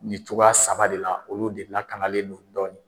Ni cogoya saba de la, olu de lakanalen don dɔɔnin.